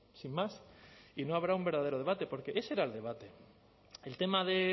sin más y no habrá un verdadero debate porque ese era el debate el tema de